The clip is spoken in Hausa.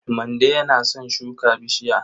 Mande yana son shuka bishiya.